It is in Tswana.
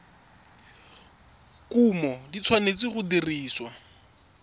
kumo di tshwanetse go dirisiwa